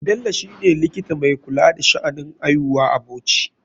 Bello shine likita mai kula da sha'anin aihuwa a bauchi.